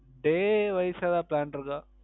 Day Wise எதாவுது Plan இருந்த